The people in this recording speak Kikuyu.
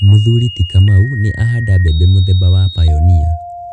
Mũthuri ti Kamau nĩ ahanda mbembe mũthemba wa Pioneer.